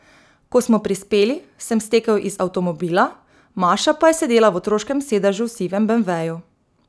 Ko smo prispeli, sem stekel iz avtomobila, Maša pa je sedela v otroškem sedežu v sivem beemveju.